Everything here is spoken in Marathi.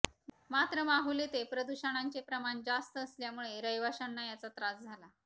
मात्र माहुल येथे प्रदूषणांचे प्रमाण जास्त असल्यामुळे रहिवाश्यांना याचा त्रास झाला